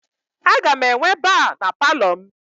Aga m enwe ba na Palọ m